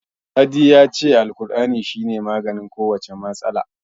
Sadi ya ce Alkur'ani shi ne maganin kowace irin matsala.